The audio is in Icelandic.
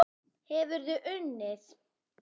Hefurðu unnið?